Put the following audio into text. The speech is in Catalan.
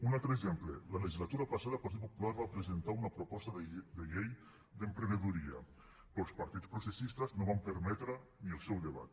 un altre exemple la legislatura passada el partit popular va presentar una proposta de llei d’emprenedoria però els partits processistes no van permetre ni el seu debat